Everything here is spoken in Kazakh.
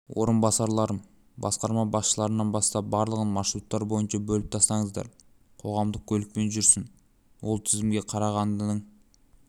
орынбасарларым басқарма басшыларынан бастап барлығын маршруттар бойынша бөліп тастаңыздар қоғамдық көлікпен жүрсін ол тізімге қарағандының